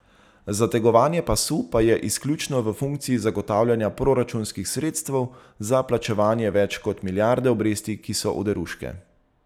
Zategovanje pasu pa je izključno v funkciji zagotavljanja proračunskih sredstev za plačevanja več kot milijarde obresti, ki so oderuške.